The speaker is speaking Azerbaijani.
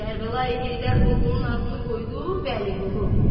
Kərbəlayi Heydər oğlunun adını qoydu Vəliqulu.